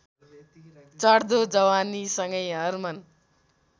चढ्दो जवानीसँगै हर्मन